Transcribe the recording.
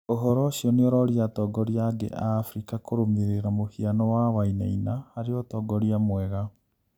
uhoro ucio niuroria atongoria angi a Afrika kurumirira muhiano wa Wainaina hari utongoria mwega